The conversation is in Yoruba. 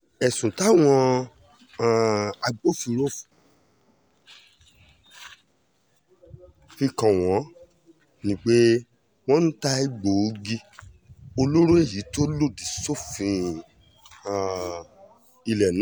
ẹ̀sùn táwọn um agbófinró ọ̀hún fi kàn wọ́n ni pé wọ́n ń ta egbòogi olóró èyí tó lòdì sófin um ilẹ̀ náà